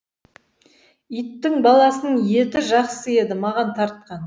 иттің баласының еті жақсы еді маған тартқан